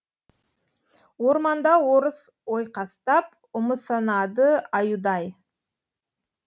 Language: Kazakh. орманда орыс ойқастап ұмысынады аюдай